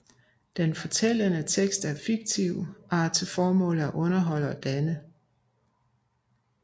Den fortællende tekst er fiktiv og har til formål at underholde og danne